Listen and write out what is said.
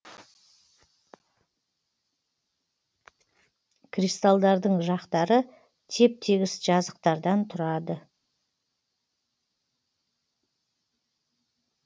кристалдардың жақтары теп тегіс жазықтардан тұрады